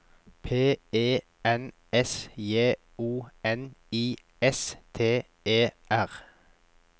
P E N S J O N I S T E R